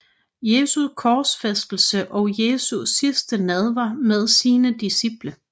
Jesu korsfæstelse og Jesu sidste nadver med sine disciple